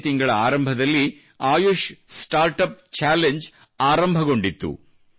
ಇದೇ ತಿಂಗಳ ಆರಂಭದಲ್ಲಿ ಆಯಷ್ ಸ್ಟಾರ್ಟ್ ಅಪ್ ಚಾಲೆಂಜ್ ಆರಂಭಗೊಂಡಿತ್ತು